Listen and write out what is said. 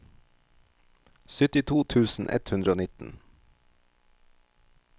syttito tusen ett hundre og nitten